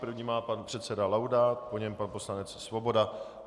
První má pan předseda Laudát, po něm pan poslanec Svoboda.